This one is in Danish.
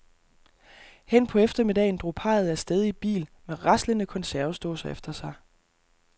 Hen på eftermiddagen drog parret af sted i bil med raslende konservesdåser efter sig.